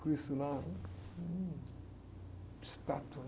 Cristo lá, estatua.